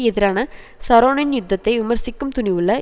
எதிரான ஷரோனின் யுத்தத்தை விமர்சிக்கும் துணிவுள்ள